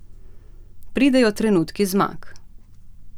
Pridejo trenutki zmag.